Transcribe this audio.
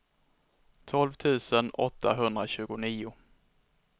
tolv tusen åttahundratjugonio